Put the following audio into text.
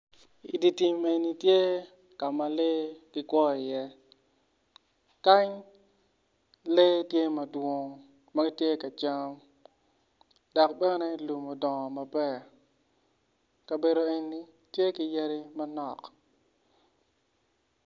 Ditim eni tye kama lee gikwo i ye kany lee tye madwong magitye kacam dok bene lum odongo maber kabedo eni tye ki yadi manok.